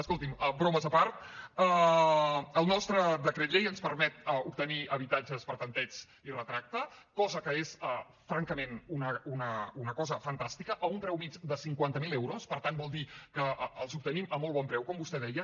escolti’m bromes a part el nostre decret llei ens permet obtenir habitatges per tanteig i retracte cosa que és francament una cosa fantàstica a un preu mitjà de cinquanta mil euros per tant vol dir que els obtenim a molt bon preu com vostè deia